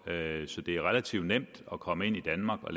så det er relativt nemt at komme ind i danmark og